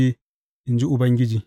in ji Ubangiji.